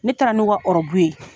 Ne taara n'o ka ɔrɔbu ye.